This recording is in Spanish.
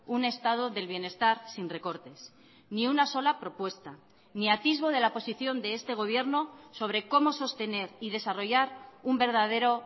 un estado del bienestar sin recortes ni una sola propuesta ni atisbo de la posición de este gobierno sobre cómo sostener y desarrollar un verdadero